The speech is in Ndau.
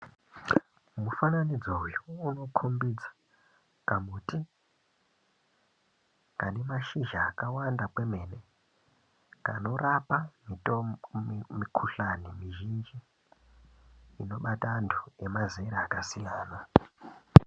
Mufananidzo uyu inokombidze kamuti kane mashizha akakawanda kwemene kanorapa mukuhlani mizhinji inobata antu emazera akasiyana.